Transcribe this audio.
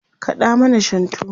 kaɗa mana shantu!